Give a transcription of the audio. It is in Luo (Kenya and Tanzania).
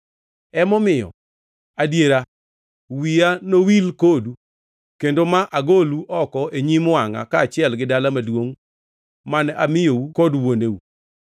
Emomiyo, adiera wiya nowil kodu kendo ma agolu oko e nyim wangʼa kaachiel gi dala maduongʼ mane amiyou kod wuoneu.